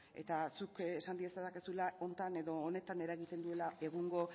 eta zuk esan diezadakezula honetan edo honetan eragiten diela egungo